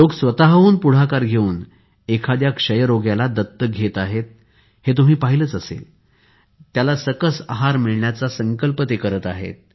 लोक स्वःहून पुढाकार घेऊन एखाद्या क्षयरोग्याला दत्तक घेत आहेत हे तुम्ही पाहिलंच असेल त्याला सकस आहार मिळण्याचा संकल्प करत आहेत